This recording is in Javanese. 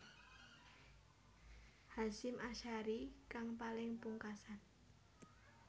Hasyim Asharie kang paling pungkasan